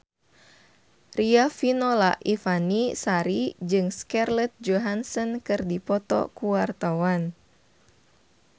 Riafinola Ifani Sari jeung Scarlett Johansson keur dipoto ku wartawan